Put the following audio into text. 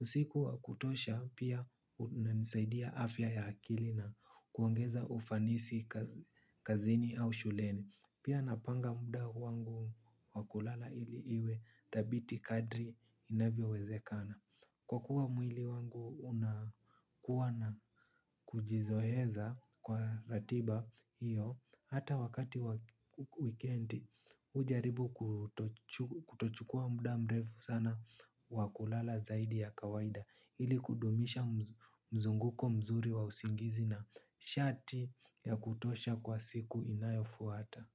Usiku wakutosha, pia, unansaidia afya ya akili na, kuongeza ufanisi kazini au shuleni. Pia napanga muda wangu wa kulala ili iwe thabiti kadri inavyowezekana. Kwa kuwa mwili wangu unakuwa na kujizoeza, kwa ratiba hiyo, hata wakati wikendi ujaribu kutochukua muda mrefu sana wa kulala zaidi ya kawaida. Ili kudumisha mzunguko mzuri wa usingizi na shati ya kutosha kwa siku inayofuata.